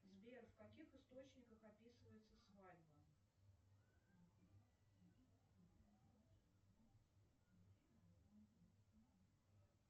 сбер в каких источниках описывается свадьба